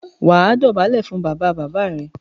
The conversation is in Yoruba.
wà á dọ̀bálẹ̀ fún “ bàbabàbá” rẹ.